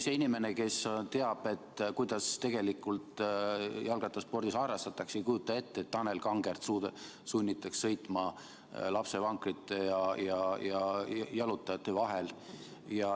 See inimene, kes teab, kuidas tegelikult jalgrattasporti harrastatakse, ei kujuta ettegi, et Tanel Kangertit sunnitaks sõitma lapsevankrite ja jalutajate vahel.